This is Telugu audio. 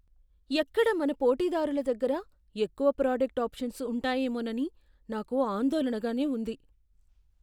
ఎక్కడ మన పోటీదారుల దగ్గర ఎక్కువ ప్రాడక్టు ఆప్షన్లు ఉంటాయేమోనని నాకు ఆందోళనగానే ఉంది.